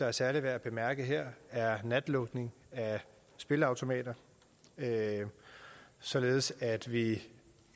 er særlig værd at bemærke her er natlukningen af spilleautomater således at vi